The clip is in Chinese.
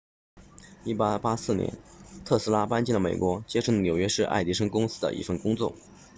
1884年特斯拉搬到了美国接受了纽约市爱迪生公司的一份工作